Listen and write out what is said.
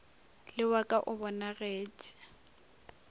le wa ka o bonagetše